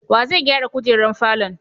Wa zai gyara kujerar falon?